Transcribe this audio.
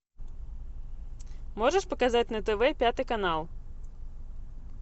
можешь показать на тв пятый канал